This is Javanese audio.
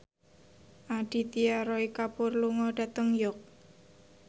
Aditya Roy Kapoor lunga dhateng York